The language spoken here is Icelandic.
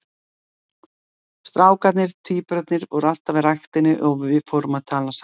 Strákarnir, tvíburarnir, voru alltaf í ræktinni og við fórum að tala saman.